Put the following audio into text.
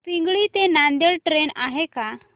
पिंगळी ते नांदेड ट्रेन आहे का